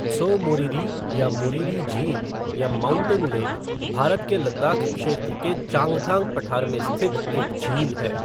त्सो मोरिरी या मोरिरी झील या "माउंटेन लेक", भारत के लद्दाख़ क्षेत्र के चांगथांग पठार में स्थित एक झील है।